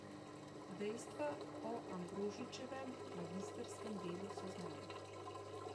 Dejstva o Ambrožičevem magistrskem delu so znana.